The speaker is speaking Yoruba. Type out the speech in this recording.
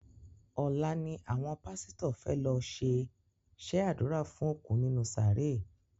Ọ̀la ni àwọn pásítọ̀ fẹ́ lọ ṣe sẹ ádùrá fún òkú nínú sàárè